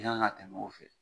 I kan ka tɛmɛ o fɛ